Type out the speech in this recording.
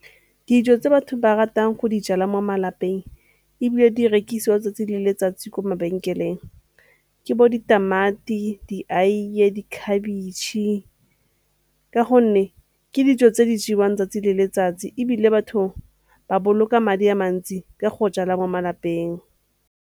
Dijo tse batho ba ratang go di jala mo malapeng ebile di rekisiwang 'tsatsi le letsatsi ko mabenkeleng ke bo ditamati, di aiye, di khabitšhe ka gonne ke dijo tse di jewang 'tsatsi le letsatsi ebile batho ba boloka madi a mantsi ka go jala mo malapeng.